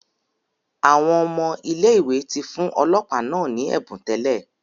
Awọn ọmọ ile-iwe ti fun ọlọpa naa ni ẹbun tẹlẹ